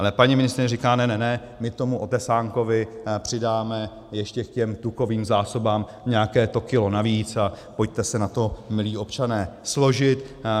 Ale paní ministryně říká ne, ne, ne, my tomu otesánkovi přidáme ještě k těm tukovým zásobám nějaké to kilo navíc a pojďte se na to, milí občané, složit.